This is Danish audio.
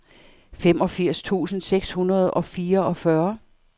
femogfirs tusind seks hundrede og fireogfyrre